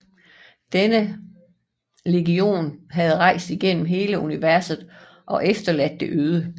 Denne legion havde rejst igennem hele universet og efterladt det øde